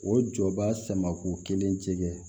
O jɔ b'a sama k'u kelen tigɛ